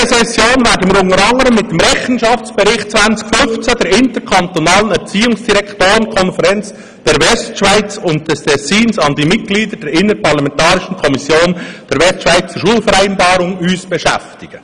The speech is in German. In dieser Session werden wir uns unter anderem mit dem Rechenschaftsbericht 2015 der interkantonalen Erziehungsdirektorenkonferenz der Westschweiz und des Tessins an die Mitglieder der interparlamentarischen Kommission der Westschweizer Schulvereinbarung beschäftigen.